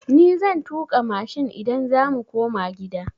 Ni zan tuƙa mashin idan za mu koma gida.